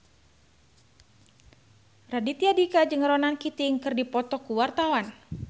Raditya Dika jeung Ronan Keating keur dipoto ku wartawan